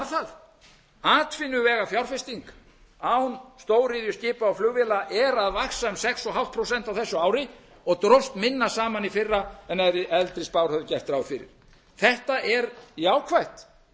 það atvinnuvegafjárfesting án stóriðju skipa og flugvéla er að vaxa um sex og hálft prósent á þessu ári og dróst minna saman í fyrra en eldri spár höfðu gert ráð fyrir þetta er jákvætt